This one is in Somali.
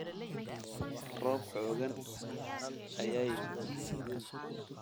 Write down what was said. Roobka xooggan ayaa yimid